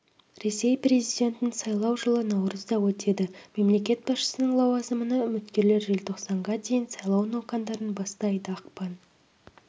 ресей президентін сайлау жылы наурызда өтеді мемлекет басшысының лауазымына үміткерлер желтоқсанға дейін сайлау науқандарын бастайды ақпан